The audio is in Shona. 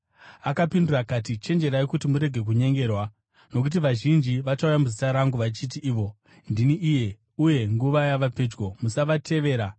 Akapindura akati, “Chenjererai kuti murege kunyengerwa. Nokuti vazhinji vachauya muzita rangu, vachiti ivo, ‘Ndini iye,’ uye ‘Nguva yava pedyo.’ Musavatevera.